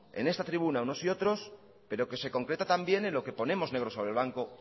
en esta tribuna unos y otros pero que se concreta también en lo que ponemos negro sobre blanco